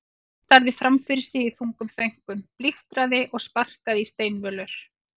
Stjáni starði fram fyrir sig í þungum þönkum, blístraði og sparkaði í steinvölur.